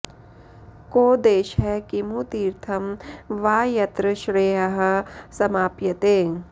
को देशः किमु तीर्थं वा यत्र श्रेयः समाप्यते